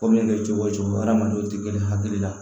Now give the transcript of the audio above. Ko min mana kɛ cogo o cogo hadamadenw tɛ girin hakili la